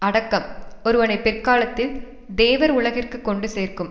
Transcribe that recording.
அடக்கம் ஒருவனை பிற்காலத்தில் தேவர் உலகிற்கு கொண்டு சேர்க்கும்